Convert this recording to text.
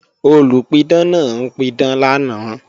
Olùpidán náà ń pidán lánàá